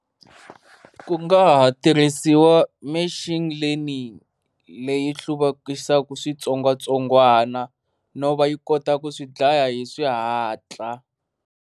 Ku nga ha tirhisiwa machine leaning leyi hluvukisana switsongwatsongwana no va yi kota ku swi dlaya hi swihatla.